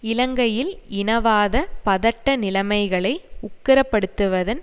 இலங்கையில் இனவாத பதட்ட நிலைமைகளை உக்கிரப்படுத்துவதன்